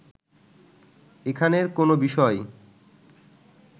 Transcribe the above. এখানের কোনো বিষয়